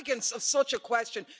The arrogance of such a question!